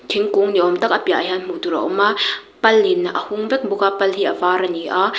thinkung ni awm tak a piahah hian hmuh tur a awm a palin a hung vek bawk a pal hi a var ani a.